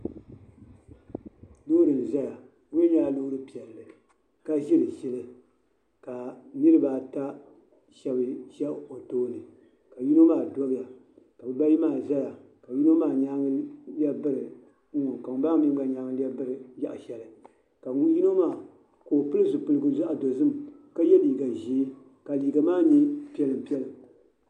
Loori n ʒɛya di mii nyɛla loori piɛlli ka ʒiri ʒili ka niraba ata shab ʒɛ di tooni ka yino maa ʒɛya ka bibayi maa dobiya ka yino maa nyaangi lɛbi biri n ŋɔ ka ŋun bala maa mii gba nyaangi lɛbigi biri yaɣa shɛli ka yino maa ka o pili zipiligu zaɣ dozim ka yɛ liiga ʒiɛ ka liiga maa nyɛ piɛla piɛla